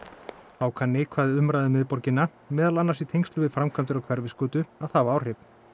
þá kann neikvæð umræða um miðborgina meðal annars í tengslum við framkvæmdir á Hverfisgötu að hafa áhrif